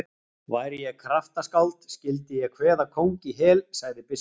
Væri ég kraftaskáld skyldi ég kveða kóng í hel, sagði biskup.